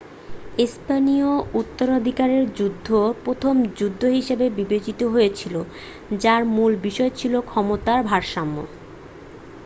স্পেনীয় উত্তরাধিকারের যুদ্ধ প্রথম যুদ্ধ হিসাবে বিবেচিত হয়েছিল যার মূল বিষয় ছিল ক্ষমতার ভারসাম্য